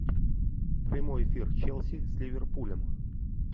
прямой эфир челси с ливерпулем